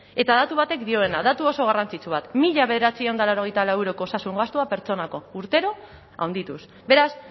eta datu batek dioena datu oso garrantzitsu bat mila bederatziehun eta laurogeita lau euroko osasun gastua pertsonako urtero handituz beraz